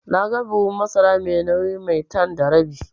Naga buhun masara mai nauyin Maitan da rabi.